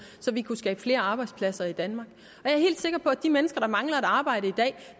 så vi kunne skabe flere arbejdspladser i danmark jeg er helt sikker på at de mennesker der mangler et arbejde